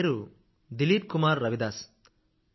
నా పేరు దిలీప్ కుమార్ రవిదాస్